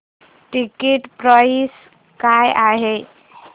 ticket price काय आहे